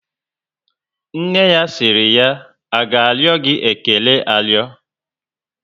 Nne ya siri ya, A ga ario gị ékélé ario?